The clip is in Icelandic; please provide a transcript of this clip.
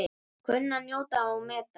Kunni að njóta og meta.